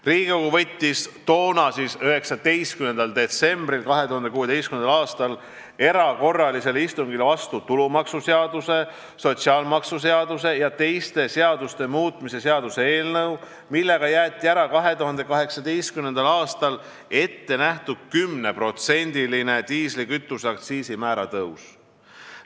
Riigikogu võttis toona, 19. detsembril 2016. aastal erakorralisel istungil vastu tulumaksuseaduse, sotsiaalmaksuseaduse ja teiste seaduste muutmise seaduse, millega jäeti ära 2018. aastaks ette nähtud 10%-line diislikütuse aktsiisi määra tõus.